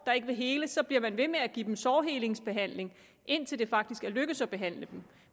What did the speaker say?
der ikke vil hele så bliver man ved med at give dem sårhelingsbehandling indtil det faktisk er lykkedes at behandle dem